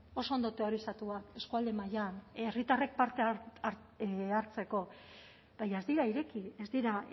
oso ondo teorizatuak eskualde mailan herritarrek parte hartzeko baina ez dira ireki ez dira